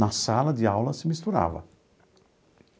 Na sala de aula se misturava.